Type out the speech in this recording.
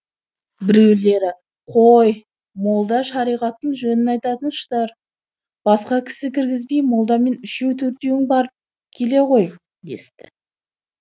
біреулері қой молда шариғаттың жөнің айтатын шығар басқа кісі кіргізбей молдамен үшеу төртеуің барып келе ғой десті